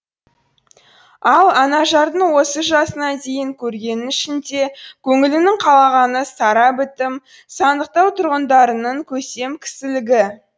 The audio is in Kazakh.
ал анажардың осы жасына дейін көргенінің ішінде көңілінің қалағаны сара бітім сандықтау тұрғындарының көсем кісілігі